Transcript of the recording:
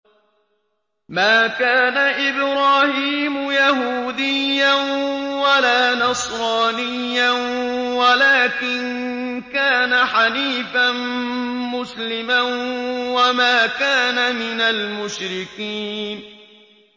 مَا كَانَ إِبْرَاهِيمُ يَهُودِيًّا وَلَا نَصْرَانِيًّا وَلَٰكِن كَانَ حَنِيفًا مُّسْلِمًا وَمَا كَانَ مِنَ الْمُشْرِكِينَ